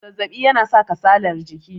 zazzabi yana sa kasalar jiki